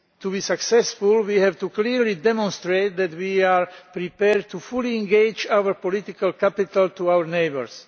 To be successful we have to clearly demonstrate that we are prepared to fully engage our political capital for our neighbours.